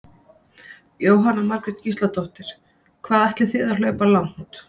Jóhanna Margrét Gísladóttir: Hvað ætlið þið að hlaupa langt?